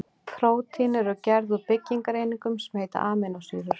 Prótín eru gerð úr byggingareiningum sem heita amínósýrur.